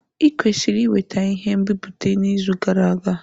I kwesiri iweta ihe nbipute n'izu gara aga!